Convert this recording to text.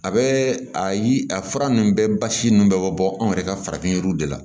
A bɛ a ye a fura ninnu bɛɛ basi nun bɛ bɔ anw yɛrɛ ka farafin yiriw de la